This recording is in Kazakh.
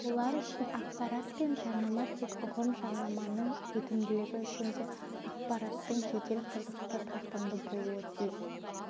олар үшін ақпарат пен жарнама тек ұғым жарнаманың өтімділігі үшін де ақпараттың жедел қызықты тартымды болуы тиіс